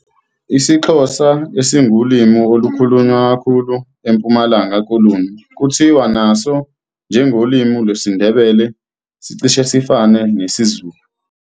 IsiXhosa, esingulimi olukhulunywa kakhulu eMpumalanga Koloni kuthiwa naso - njengolimi lwesiNdebele - sicishe sifane nesiZulu.